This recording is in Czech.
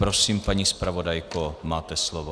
Prosím, paní zpravodajko, máte slovo.